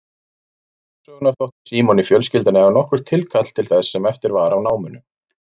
Vegna forsögunnar þótti Símoni fjölskyldan eiga nokkurt tilkall til þess sem eftir var af námunum.